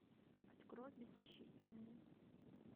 открой беззащитная